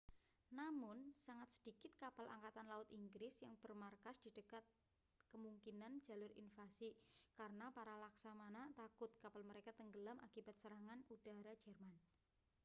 namun sangat sedikit kapal angkatan laut inggris yang bermarkas di dekat kemungkinan jalur invasi karena para laksamana takut kapal mereka tenggelam akibat serangan udara jerman